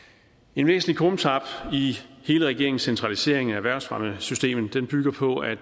en væsentlig krumtap i hele regeringens centralisering af erhvervsfremmesystemet bygger på at